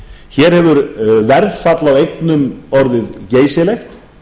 hér hefur verðfall á eignum orðið geysilegt